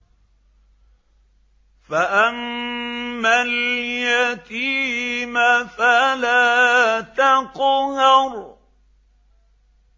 فَأَمَّا الْيَتِيمَ فَلَا تَقْهَرْ